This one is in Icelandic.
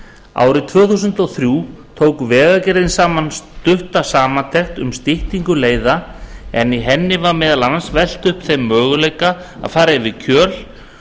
árið tvö þúsund og þrjú tók vegagerðin saman stutta samantekt um styttingu leiða en í henni var meðal annars velt upp þeim möguleika að fara um kjöl